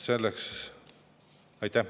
Aitäh!